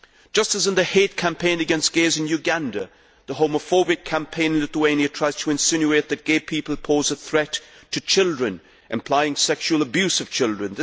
Just as in the hate campaign against gays in Uganda, the homophobic campaign in Lithuania tries to insinuate that gay people pose a threat to children, implying sexual abuse of children.